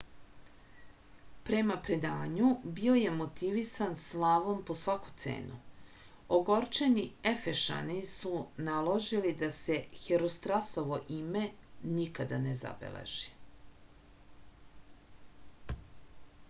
prema predanju bio je motivisan slavom po svaku cenu ogorčeni efešani su naložili da se herostratovo ime nikada ne zabeleži